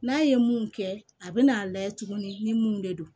N'a ye mun kɛ a bɛ n'a layɛ tuguni ni mun de don